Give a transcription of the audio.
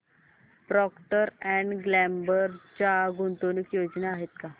Procter and Gamble च्या गुंतवणूक योजना आहेत का